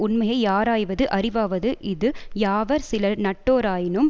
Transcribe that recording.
உண்மையை யாராய்வது அறிவாவது இது யாவர் சிலர் நட்டோராயினும்